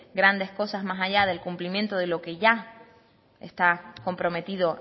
grandes cosas más allá del cumplimiento de lo que ya está comprometido